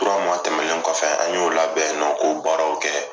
tɛmɛlen kɔfɛ an y'o labɛn yan nɔ k'o baaraw kɛ.